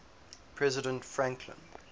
president franklin